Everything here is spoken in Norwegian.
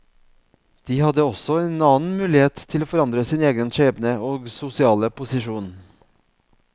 De hadde også en annen mulighet til å forandre sin egen skjebne og sosiale posisjon.